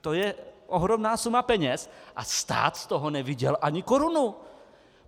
To je ohromná suma peněz a stát z toho neviděl ani korunu!